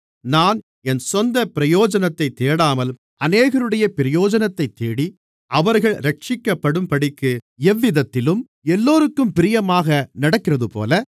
நான் என் சொந்தப் பிரயோஜனத்தைத் தேடாமல் அநேகருடைய பிரயோஜனத்தைத் தேடி அவர்கள் இரட்சிக்கப்படும்படிக்கு எவ்விதத்திலும் எல்லோருக்கும் பிரியமாக நடக்கிறதுபோல